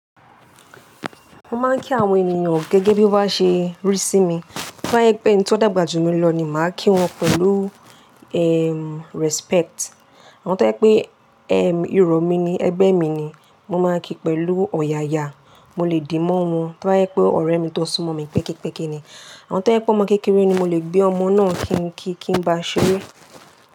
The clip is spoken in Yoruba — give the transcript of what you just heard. Mo máa ń kí àwọn ènìyàn gẹ́gẹ́ bí wọ́n bá ṣe rí sí mi. Bí wọ́n yẹ pé ẹni tó dàgbà jù mí lọ ni màá kí wọn pẹ̀lú, ehm, respect. Àwọn tó yẹ pé, ehm, ìrọ̀ mi ni, ẹgbẹ́ mi ni, mo máa kí pẹ̀lú ọ̀yàyà, mo lè dìmọ́ wọn. Bí wọ́n yẹ pé ọ̀rẹ́ mi tó súnmọ́ mi pẹ́kípẹ́kí ni, àwọn tó yẹ pé ọmọ kékeré ni mo lè gbé ọmọ náà kin kí kí n bá a ṣeré.